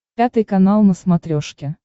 пятый канал на смотрешке